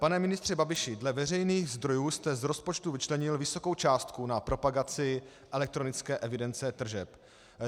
Pane ministře Babiši, dle veřejných zdrojů jste z rozpočtu vyčlenil vysokou částku na propagaci elektronické evidence tržeb.